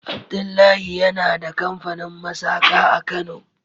Abdullahi yana da kamfanin masaka a kano.